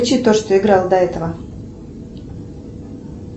включи то что играло до этого